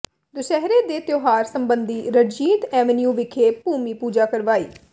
ਦੁਸਹਿਰੇ ਦੇ ਤਿਉਹਾਰ ਸਬੰਧੀ ਰਣਜੀਤ ਐਵੀਨਿਊ ਵਿਖੇ ਭੂਮੀ ਪੂਜਾ ਕਰਵਾਈ